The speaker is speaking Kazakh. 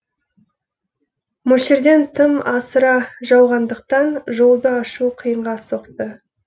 мөлшерден тым асыра жауғандықтан жолды ашу қиынға соқты